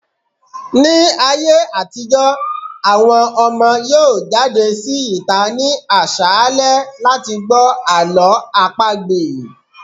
Ní ayé àtijọ́, àwọn ọmọ yóò jáde sí ìta ní àṣálẹ́ láti gbọ́ Àlọ́ àpagbè.